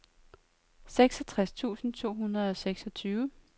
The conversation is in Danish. seksogtres tusind to hundrede og seksogtyve